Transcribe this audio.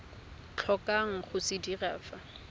tlhokang go se dira fa